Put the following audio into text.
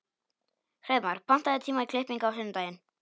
Hreiðmar, pantaðu tíma í klippingu á sunnudaginn.